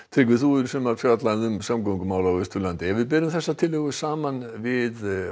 Tryggvi þú hefur í sumar fjallað um samgöngumál á Austurlandi ef við berum þessa tillögu saman við